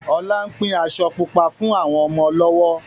Ọlá ń pín aṣọ Pupa fún àwọn ọmọ lọ́wọ́